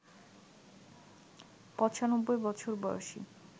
৯৫ বছর বয়েসী